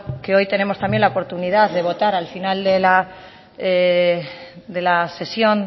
que hoy tenemos también la oportunidad de votar al final de la sesión